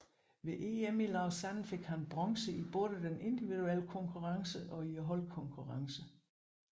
Ved EM i Lausanne fik han bronze i både den indviduelle konkurrence og i holdkonkurrencen